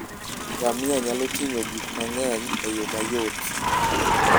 Ngamia nyalo ting'o gik mang'eny e yo mayot.